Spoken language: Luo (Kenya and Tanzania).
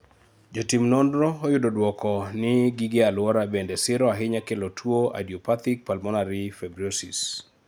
Jo tim nonro oyudo duoko ni gige aluora bende siro ahinya kelo tuo idiopathic pulmonary fibrosis